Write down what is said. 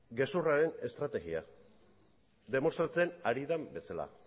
gezurraren estrategia demostratzen ari den bezala